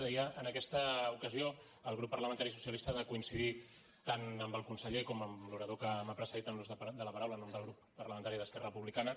deia en aquesta ocasió el grup parlamentari socialista ha de coincidir tant amb el conseller com amb l’orador que m’ha precedit en l’ús de la paraula en nom del grup parlamentari d’esquerra republicana